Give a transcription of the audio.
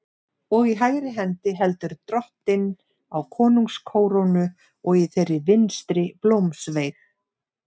Og í hægri hendi heldur Drottinn á konungskórónu og í þeirri vinstri blómsveig.